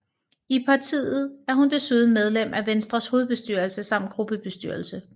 I partiet er hun desuden medlem af Venstres hovedbestyrelse samt gruppebestyrelse